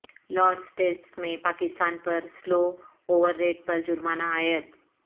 Lords test میں پاکستان پر slow over rate پر جرمانہ عائد